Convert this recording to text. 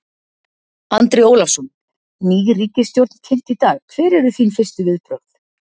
Andri Ólafsson: Ný ríkisstjórn kynnt í dag, hver eru þín fyrstu viðbrögð?